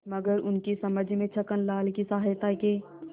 मगर उनकी समझ में छक्कनलाल की सहायता के